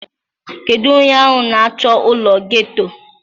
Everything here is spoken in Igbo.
Kedu onye ahụ na-achọ ụlọ geto?